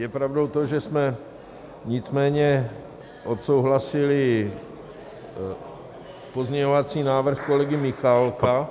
Je pravdou to, že jsme nicméně odsouhlasili pozměňovací návrh kolegy Michálka -